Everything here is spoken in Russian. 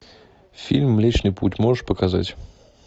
фильм млечный путь можешь показать